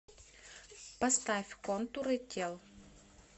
поставь контуры тел